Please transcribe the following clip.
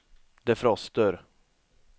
defroster